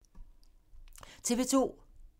TV 2